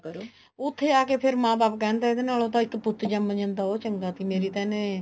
ਕਰੋ ਉੱਥੇ ਜਾ ਕੇ ਫ਼ੇਰ ਮਾਂ ਬਾਪ ਕਹਿੰਦਾ ਇਹਦੇ ਨਾਲੋਂ ਤਾਂ ਇੱਕ ਪੁੱਤ ਜੰਮ ਜਾਂਦਾ ਉਹ ਚੰਗਾ ਸੀ ਮੇਰੀ ਤਾਂ ਇਹਨੇ